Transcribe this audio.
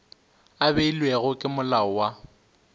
a beilwego ke molao wa